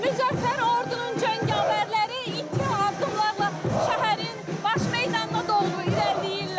Müzəffər ordunun cəngavərləri iti addımlarla şəhərin baş meydanına doğru irəliləyirlər.